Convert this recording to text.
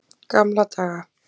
Gamla daga.